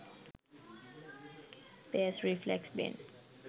bass reflex bin